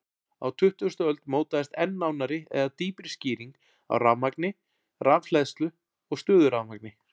Á tuttugustu öld mótaðist enn nánari eða dýpri skýring á rafmagni, rafhleðslu og stöðurafmagni.